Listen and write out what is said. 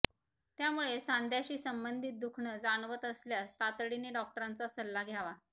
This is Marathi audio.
त्यामुळे सांध्याशी संबंधित दुखणं जाणवत असल्यास तातडीने डॉक्टरांचा सल्ला घ्यावा